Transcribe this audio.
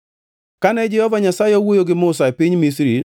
Kane Jehova Nyasaye owuoyo gi Musa e piny Misri,